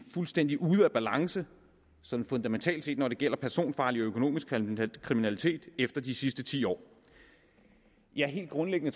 fuldstændig ude af balance sådan fundamentalt set når det gælder personfarlig og økonomisk kriminalitet efter de sidste ti år ja helt grundlæggende